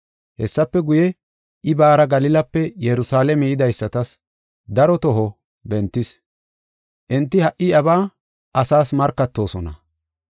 Hessafe guye, I baara Galilape Yerusalaame yidaysatas daro toho bentis. Enti ha77i iyabaa asaas markatoosona.